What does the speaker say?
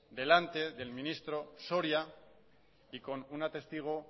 delante del ministro soria y con una testigo